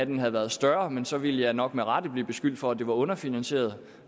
den havde været større men så ville jeg nok med rette blive beskyldt for at det var underfinansieret